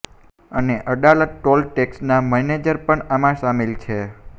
અને અડાલજ ટોલ ટેક્સના મેનેજર પણ આમાં સામિલ છે